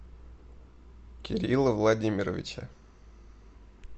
кирилла владимировича